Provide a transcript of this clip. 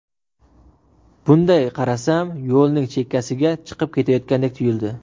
Bunday qarasam yo‘lning chekkasiga chiqib ketayotgandek tuyuldi.